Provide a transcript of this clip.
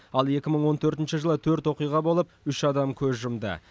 ал екі мың он төртінші жылы төрт оқиға болып үш адам көз жұмды